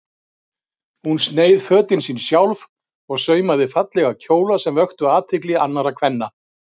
Hún sneið fötin sín sjálf og saumaði fallega kjóla sem vöktu athygli annarra kvenna.